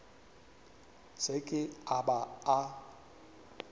se ke a ba a